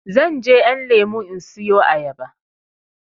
Zanje ƴan lemo in siyo ayaba